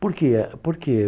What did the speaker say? Por que? Eh por que?